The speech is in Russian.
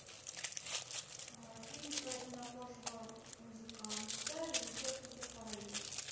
фильм про темнокожего музыканта режиссер питер фаррелли